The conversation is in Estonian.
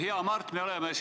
Hea Mart!